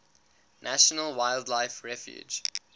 national wildlife refuge